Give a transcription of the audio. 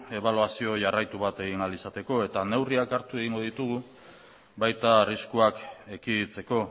ebaluazio jarraitu bat egin ahal izateko eta neurriak hartu egingo ditugu baita arriskuak ekiditeko